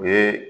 U ye